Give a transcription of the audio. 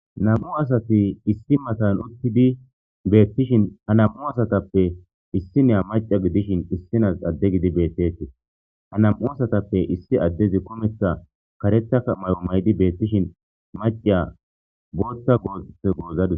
Nam'u asati issi matan uttidi betishin ha nam'u asatappe issiniya ade gidishin issinazi adeko ha nnam'u asatape adezi karetha kumetha mayo mayishin maciya karetha shashe gozadus